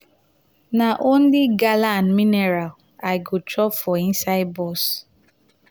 na only gala and mineral i go chop for inside motor.